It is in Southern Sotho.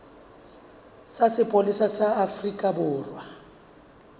sa sepolesa sa afrika borwa